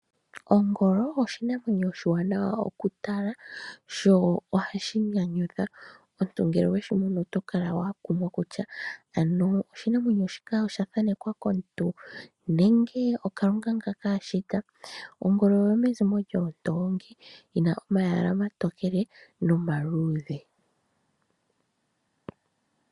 Ongolo oshinamwenyo oshiwanawa okutala , sho ohashi nyanyudha. Omuntu ngele oweshi mono otokala wakumwa kutya ano oshinamwenyo shika oshathanekwa komuntu nenge oKalunga ngaa ashita. Ongolo oyo mezimo lyoondoongi , yina omayala omatokele nomaluudhe.